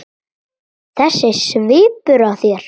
Þessi svipur á þér.